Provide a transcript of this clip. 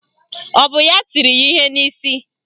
Ọ bụ ya tiri ya ihe n'isi?